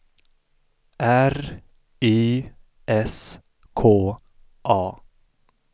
R Y S K A